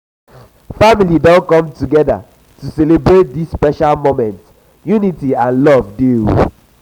family don come together to celebrate dis special moment unity and love dey.